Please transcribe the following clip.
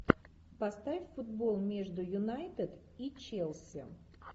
поставь футбол между юнайтед и челси